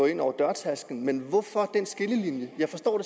ind over dørtærskelen men hvorfor den skillelinje jeg forstår